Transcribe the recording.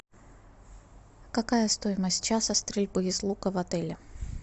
какая стоимость часа стрельбы из лука в отеле